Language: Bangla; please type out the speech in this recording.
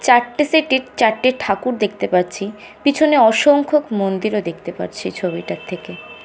চারটে সেট -এ চারটে ঠাকুর দেখতে পাচ্ছি পিছনে অসংখ্যক মন্দির ও দেখতে পারছি ছবিটার থেকে।